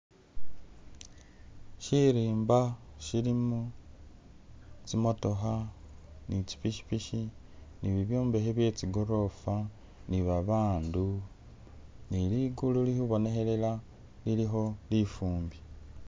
Shirimba shilimo tsi motokha ne tsi pikipiki ne bibyombekhe bye chigolofa ni babandu ni luguulu lili khubonekhelela lilikho lifumbi